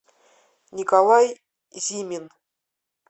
николай зимин